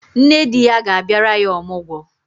Nne di ya ga-abịara ya ọmụgwọ.